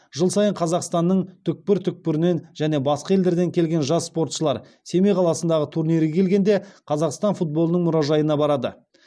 жыл сайын қазақстанның түкпір түкпірінен және басқа елдерден келген жас спортшылар семей қаласындағы турнирге келгенде қазақстан футболының мұражайына барады